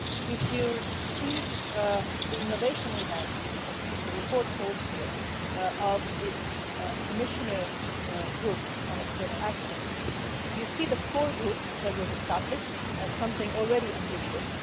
If you see the innovation that the report calls for this Commissioners' Group on External Action you see the core group that was established as something already ambitious.